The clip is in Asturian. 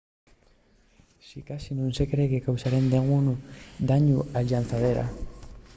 sicasí nun se cree que causaren dengún dañu a la llanzadera